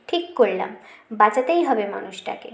ঠিক করলাম বাচাতেই হবে মানুষটাকে